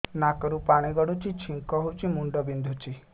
ନାକରୁ ପାଣି ଗଡୁଛି ଛିଙ୍କ ହଉଚି ମୁଣ୍ଡ ବିନ୍ଧୁଛି